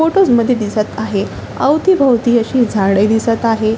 Photos मध्ये दिसत आहे अवतीभोवती अशी झाडे दिसत आहे.